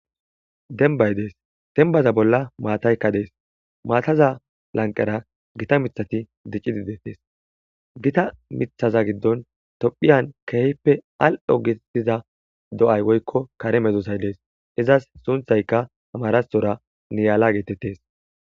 Dembay des demba bolla mattayka dees mattaza lanqera gitta mithati dicidi detes gitta mithaza gidon tophiyan kehippe al'o getetiza do'ay woykon kare medosay de'esikko izza sunthayikka amarathora niyala getetes.